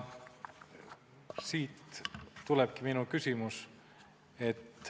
Siit tulebki minu küsimus.